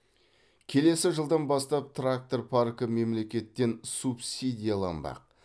келесі жылдан бастап трактор паркі мемлекеттен субсидияланбақ